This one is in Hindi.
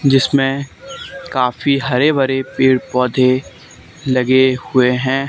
जिसमें काफी हरे भरे पेड़ पौधे लगे हुए हैं।